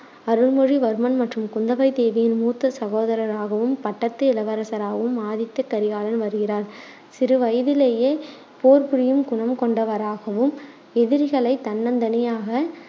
அருள்மொழிவர்மன் மற்றும் குந்தவை தேவியின் மூத்த சகோதரராகவும், பட்டத்து இளவரசராகவும் ஆதித்த கரிகாலன் வருகிறார். சிறுவயதிலேயே போர் புரியும் குணம் கொண்டவராகவும், எதிரிகளைத் தன்னந்தனியாக